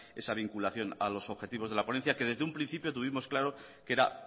esa vinculación a los objetivos de la ponencia que desde un principio tuvimos claro que era